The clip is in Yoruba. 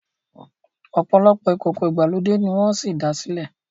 opolopo ìkókó ìgbàlódé ní wón sí dá silẹ